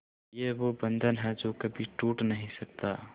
ये वो बंधन है जो कभी टूट नही सकता